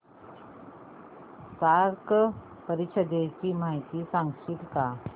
SAARC परिषदेची माहिती सांगशील का